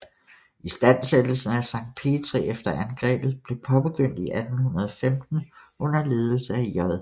Istandsættelsen af Sankt Petri efter angrebet blev påbegyndt i 1815 under ledelse af J